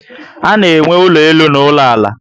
Ana enwe ụlọ elu na ụlọ ala